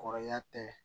Kɔrɔya tɛ